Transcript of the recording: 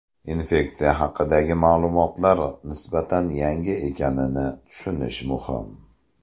Infeksiya haqidagi ma’lumotlar nisbatan yangi ekanini tushunish muhim.